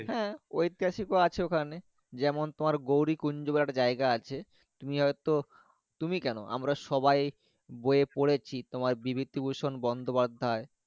হ্যাঁ ঐতিহাসিক ও আছে ওখানে যেমন তোমার গৌরীকুঞ্জব্যাট জায়গা আছে তুমি হয়তো তুমি কেন আমরা সবাই বয়ে পড়েছি বিবিদিভুষুন বন্দ্যোপাধ্যায়।